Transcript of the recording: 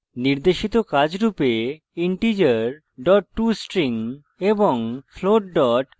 নির্দেশিত কাজ রূপে integer tostring এবং float tostring সম্পর্কে পড়ুন